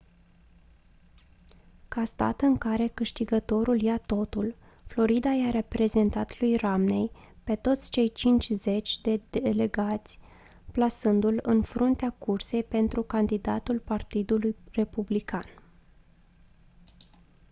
ca stat în care câștigătorul ia totul florida i-a repartizat lui romney pe toți cei cincizeci de delegați plasându-l în fruntea cursei pentru candidatul partidului republican